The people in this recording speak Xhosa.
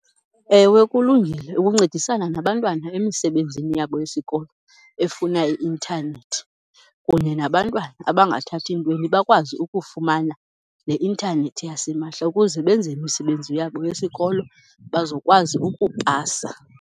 Ewe kulungile ukuncedisana nabantwana emisebenzini yabo yesikolo efuna i-intanethi, kunye nabantwana abangathathi ntweni bakwazi ukufumana le intanethi yasimahla ukuze benze imisebenzi yabo yesikolo bazokwazi ukupasa.